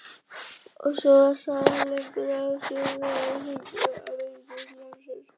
Og því hraðar sem hún gengur því fleiri verða hringir vindsins.